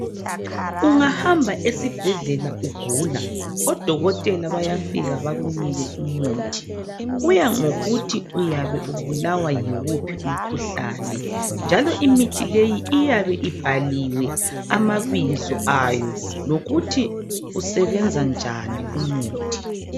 Ungahamba esibhedlela ugula odokotela bayafika bakunike umuthi. Kuyangokuthi uyabe ubulawa yiwuphi umkhuhlane, njalo imithi leyi iyabe ibhaliwe amabizo ayo lokuthi usebenza njani umuthi.